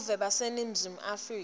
buve baseningizimu afrika